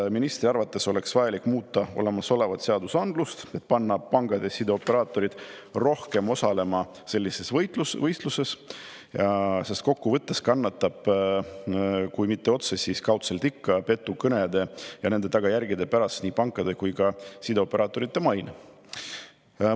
Kas ministri arvates oleks vajalik muuta olemasolevat seadusandlust, et panna pangad ja sideoperaatorid rohkem osalema sellises võitluses, sest kokkuvõttes kannatab kui mitte otseselt, siis kaudselt ikka petukõnede ja nende tagajärgede pärast nii pankade kui ka sideoperaatorite maine?